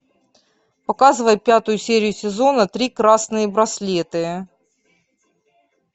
показывай пятую серию сезона три красные браслеты